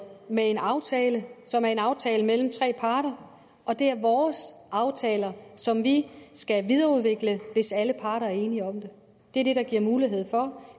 med en aftale som er en aftale mellem tre parter og det er vores aftaler som vi skal videreudvikle hvis alle parter er enige om det det er det der giver mulighed for